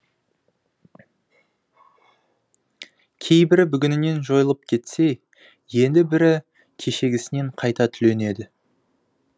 кейбірі бүгінінен жойылып кетсе енді бірі кешегісінен қайта түленеді